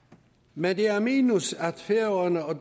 men det er et minus at færøerne og